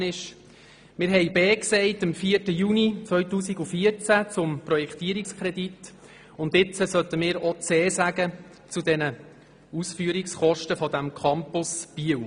Wir haben am 4. Juni 2014 «b» gesagt zum Projektierungskredit, und jetzt sollten wir auch «c» zu den Ausführungskosten des Campus Biel sagen.